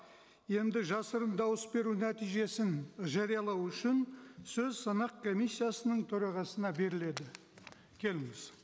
енді жасырын дауыс беру нәтижесін жариялау үшін сөз санақ комиссиясының төрағасына беріледі келіңіз